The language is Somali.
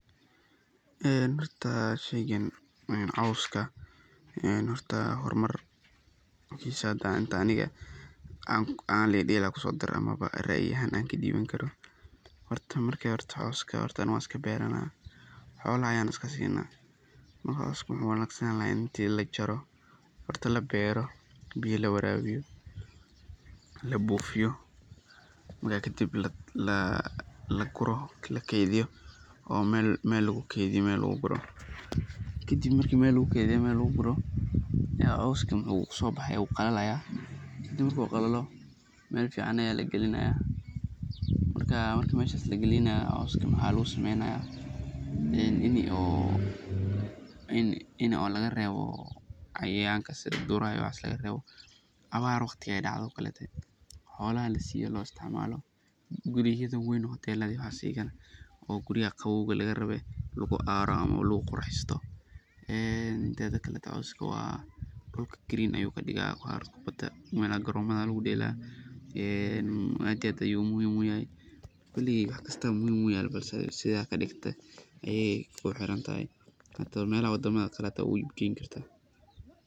Horta sheygan cawska ,hormar hada aniga ahan racyi hadan kadibto oo Cawska racyi kadibo waa dhir caws ah oo ka mid ah dhirta ugu muhiimsan ee loo isticmaalo daaqa xoolaha, gaar ahaan lo’da, ariga, iyo geelka. Waxaa laga helaa dhul badan oo ka tirsan bariga Afrika, gaar ahaan meelaha kulaylaha ah iyo kuwa dhaxan yar. Cawskaan waxaa si gaar ah loogu tiriyaa inuu yahay caws tayo sare leh, sababtoo ah waa mid si dhakhso ah u baxa, adkaysi u leh abaaraha, abaar waqtiga ay dhacdo. Guryaha aya lagu qurxista marki kulel jiro aad iyo aad ayu muhim u yahay, koley wax kasto muhim wuu yahay balse sidha kadigto ayey kuhirantahay ,melaha wadamadha kalee hita waa geyn karta.